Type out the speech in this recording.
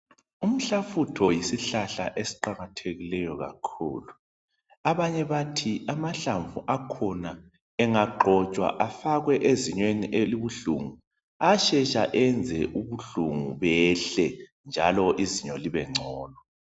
Umhlafutho yisihlahla esiqakathekileyo kakhulu abanye bathi amahlamvu akhona engagcotshwa afakwe ezinyweni elibuhlungu ashesha enze ubuhlungu behle njalo izinyo libe ngcono.